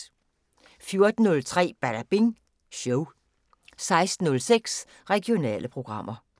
14:03: Badabing Show 16:06: Regionale programmer